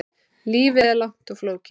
Lífið er langt og flókið.